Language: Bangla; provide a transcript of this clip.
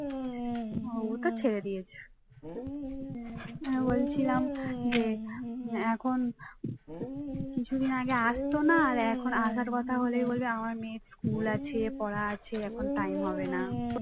কিছুদিন আগে আসতো না আর এখন আসার কথা হলেই বলবে আমার মেয়ের school আছে পড়া আছে এখন time হবে না